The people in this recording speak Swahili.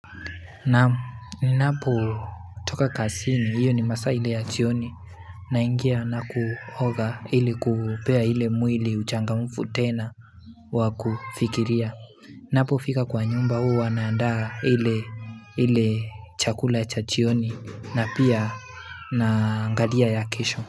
Naam, ninapotoka kasini, hiyo ni masaa ile ya chioni naingia na kuoga ili kupea ile mwili uchangamufu tena wa kufikiria Napofika kwa nyumba huwa naandaa ile chakula cha jioni na pia naangalia ya kesho.